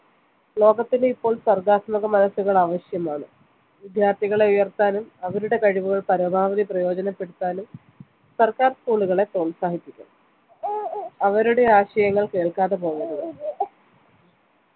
ലോകത്തിലിപ്പോൾ സർഗാത്മക മനസ്സുകൾ ആവിശ്യമാണ് വിദ്യാർത്ഥികളെ ഉയർത്താനും അവരുടെ കഴിവുകൾ പരമാവധി പ്രയോജനപ്പെടുത്താനും സർക്കാർ school കളെ പ്രോത്സാഹിപ്പിക്കണം അവരുടെ ആശയങ്ങൾ കേൾക്കാതെ പോവരുത്